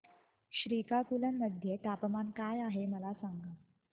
श्रीकाकुलम मध्ये तापमान काय आहे मला सांगा